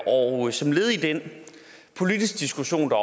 og som led i den politiske diskussion der